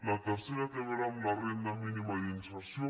la tercera té a veure amb la renda mínima d’inserció